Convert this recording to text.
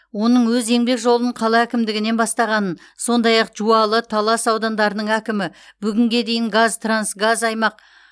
оның өз еңбек жолын қала әкімдігінен бастағанын сондай ақ жуалы талас аудандарының әкімі бүгінге дейін қазтрансгаз аймақ